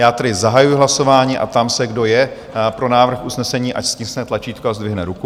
Já tedy zahajuji hlasování a ptám se, kdo je pro návrh usnesení, ať stiskne tlačítko a zdvihne ruku.